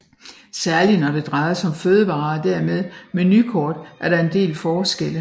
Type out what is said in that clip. Særlig når det drejer sig om fødevarer og dermed menukort er der en del forskelle